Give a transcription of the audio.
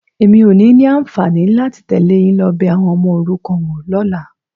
Èmi ò ní ní àǹfààní láti tẹ̀lé yín lọ bẹ àwọn ọmọ òrukàn wo lọ́la.